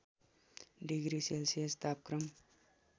degree Celsius तापक्रम